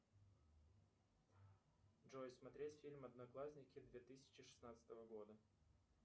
джой смотреть фильм одноклассники две тысячи шестнадцатого года